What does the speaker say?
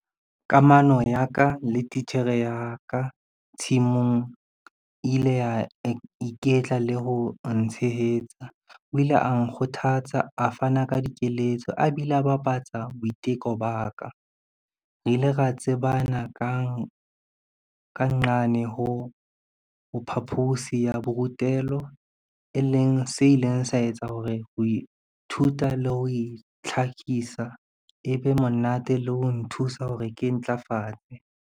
Kamano ya ka le titjhere ya ka tshimong ile ya iketla le ho ntshehetsa. O ile a nkgothatsa, a fana ka dikeletso, a bile a bapatsa boiteko ba ka. Re ile ra tsebana ka ka nqane ho phaposi ya borutelo, e leng se ileng sa etsa hore ho ithuta le ho itlhakisa e be monate le ho nthusa hore ke ntlafale.